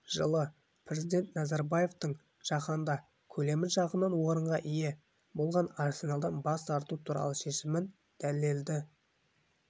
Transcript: жылы президент назарбаевтың жаһанда көлемі жағынан орынға ие болған арсеналдан бас тарту туралы шешімін дәлелді